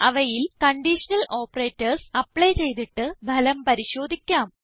അവയിൽ conditional operators apply ചെയ്തിട്ട് ഫലം പരിശോധിക്കാം